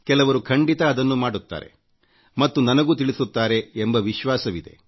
ಕೆಲವರು ಖಂಡಿತ ಅದನ್ನು ಮಾಡುತ್ತಾರೆ ಮತ್ತು ನನಗೂ ತಿಳಿಸುತ್ತಾರೆ ಎಂಬ ವಿಶ್ವಾಸವಿದೆ